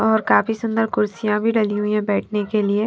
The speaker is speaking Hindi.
और काफी सुंदर कुर्सियां भी डली हुई है बैठने के लिए --